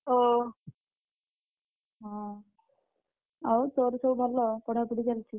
ଓ, ହଁ, ଆଉତୋର ସବୁ ଭଲ ପଢାପଢି ଚାଲିଛି?